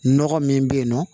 Nɔgɔ min bɛ yen nɔ